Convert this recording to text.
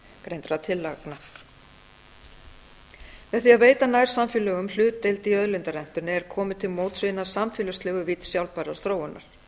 framangreindra tillagna með því að veita nærsamfélögum hlutdeild í auðlindarentunni er komið til móts við hina samfélagslegu vídd sjálfbærrar þróunar